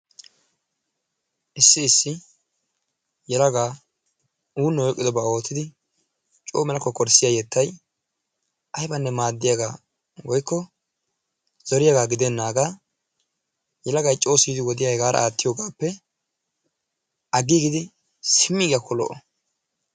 issi issi yelagaa uunoy oyqqidooba oottidi coo mela kokkorssiyaa yettay aybbanne maaddiyaaga woykko zorriyaaga gidenaaga yelagaay coo siyidi wodiya hegaara aattiyogaappe aggiigidi simmiyaggiyakko lo''o.